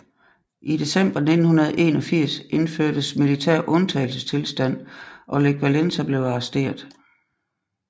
I december 1981 indførtes militær undtagelsestilstand og Lech Wałęsa blev arresteret